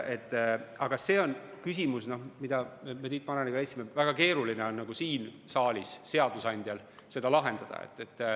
Aga me Tiit Maraniga leidsime, et see on küsimus, mida on väga keeruline siin saalis seadusandjal lahendada.